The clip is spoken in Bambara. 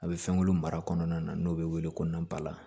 A bɛ fɛnkolo mara kɔnɔna na n'o bɛ wele ko nabala